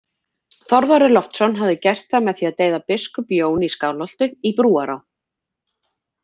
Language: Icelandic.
Þorvarður Loftsson hafi gert það með því að deyða biskup Jón í Skálholti í Brúará